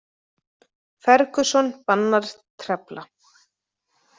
Ferguson bannar trefla